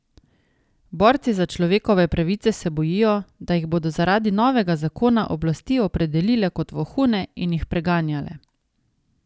Borci za človekove pravice se bojijo, da jih bodo zaradi novega zakona oblasti opredelile kot vohune in jih preganjale.